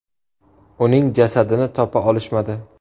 Uning jasadini topa olishmadi.